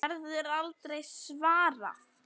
Verður aldrei svarað.